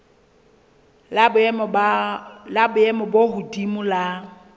la boemo bo hodimo la